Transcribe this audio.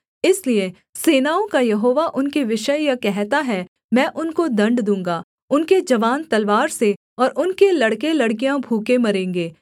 इसलिए सेनाओं का यहोवा उनके विषय यह कहता है मैं उनको दण्ड दूँगा उनके जवान तलवार से और उनके लड़केलड़कियाँ भूखे मरेंगे